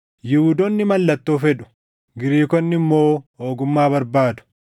Yihuudoonni mallattoo fedhu; Giriikonni immoo ogummaa barbaadu;